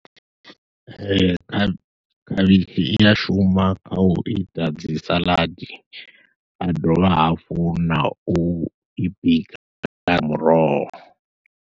Ee, kha, khavhishi i a shuma kha u ita dzi saḽadi, ha dovha hafhu na u i bika muroho.